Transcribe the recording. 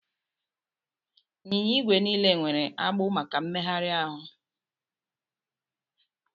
Anyịnya igwe niile nwere agbụ maka mmegharị